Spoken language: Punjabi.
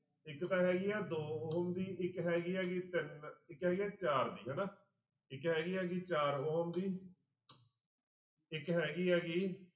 ਇੱਕ ਤਾਂ ਹੈਗੀ ਆ ਦੋ ਉਹ ਹੋਊਗੀ ਇੱਕ ਹੈਗੀ ਹੈਗੀ ਤਿੰਨ ਇੱਕ ਹੈਗੀ ਆ ਚਾਰ ਦੀ ਹਨਾ ਇੱਕ ਹੈਗੀ ਹੈਗੀ ਚਾਰ ਦੀ ਇੱਕ ਹੈਗੀ ਹੈਗੀ